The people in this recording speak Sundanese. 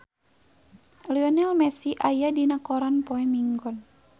Lionel Messi aya dina koran poe Minggon